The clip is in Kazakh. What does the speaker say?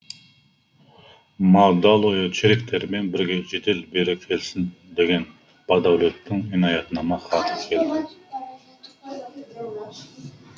ма далое чериктерімен бірге жедел бері келсін деген бадәулеттің инаятнама хаты келді